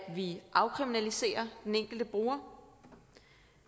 vi afkriminaliserer den enkelte bruger